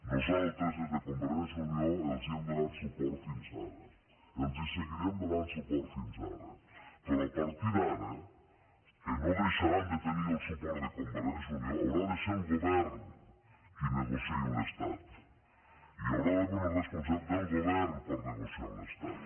nosaltres des de convergència i unió els hem donat suport fins ara els seguirem donant suport fins ara però a partir d’ara que no deixaran de tenir el suport de convergència i unió haurà de ser el govern qui negociï amb l’estat hi haurà d’haver una responsabilitat del govern per negociar amb l’estat